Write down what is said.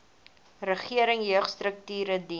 regering jeugstrukture dien